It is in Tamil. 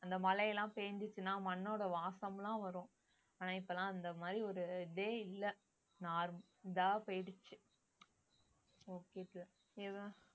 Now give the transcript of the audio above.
அந்த மழை எல்லாம் பேஞ்சுச்சுன்னா மண்ணோட வாசம் எல்லாம் வரும் ஆனா இப்ப எல்லாம் அந்த மாதிரி ஒரு இதே இல்ல normal இதா போயிடுச்சு okay